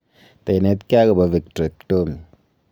Tainetkei agopo Vitrectomy